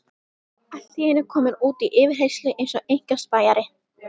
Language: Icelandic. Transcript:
Allt í einu kominn út í yfirheyrslu eins og einkaspæjari.